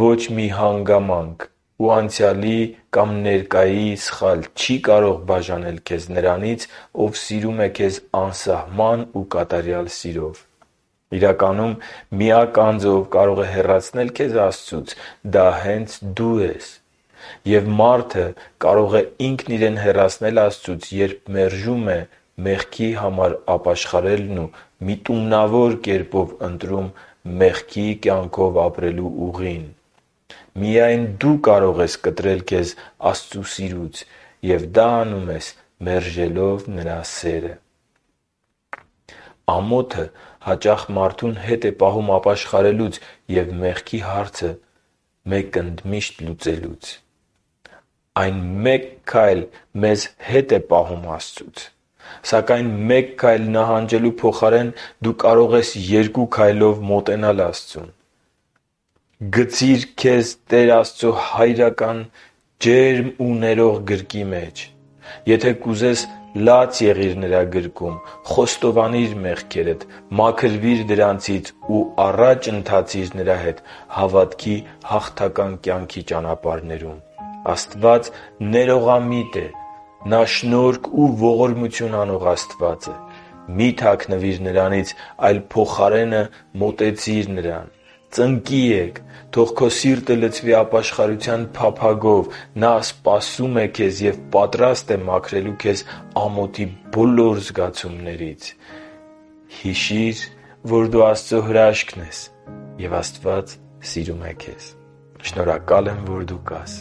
ոչ մի հանգամանք ու անցյալի կամ ներկայի սխալ չի կարող բաժանել քեզ Նրանից, Ով սիրում է քեզ անսահման ու կատարյալ սիրով։ Իրականում, միակ անձը, ով կարող է հեռացնել քեզ Աստծուց, դա հենց դու ես։ Եվ մարդը կարող է ինքն իրեն հեռացնել Աստծուց, երբ մերժում է մեղքի համար ապաշխարելն ու միտումնավոր կերպով ընտրում մեղքի կյանքով ապրելու ուղին։ Միայն դու կարող ես կտրել քեզ Աստծո սիրուց, և դա անում ես՝ մերժելով Նրա սերը։ Ամոթը հաճախ մարդուն հետ է պահում ապաշխարելուց ու մեղքի հարցը լուծելուց։ Այն մեկ քայլ մեզ հետ է պահում Աստծուց։ Սակայն մեկ քայլ նահանջելու փոխարեն դու կարող ես երկու քայլով մոտենալ Աստծուն։ Գցի՛ր քեզ Տեր Աստծո հայրական ջերմ ու ներող գրկի մեջ։ Եթե կուզես, լաց եղիր Նրա գրկում, խոստովանի՛ր մեղքերդ, մաքրվի՛ր դրանցից ու առաջ ընթացի՛ր Նրա հետ հավատքի հաղթական կյանքի ճանապարհներում։ Աստված ներողամիտ է։ Նա շնորհք ու ողորմություն անող Աստված է։ Մի՛ թաքնվիր Նրանից, այլ փոխարենը մոտեցիր Նրան։ Ծնկի ե՛կ, թող քո սիրտը լցվի ապաշխարության փափագով։ Նա սպասում է քեզ և պատրաստ է մաքրելու քեզ ամոթի բոլոր զգացումներից։ Հիշի՛ր, որ դու Աստծո հրաշքն ես, և Աստված սիրում է քեզ։ Շնորհակալ եմ, որ դու կա՛ս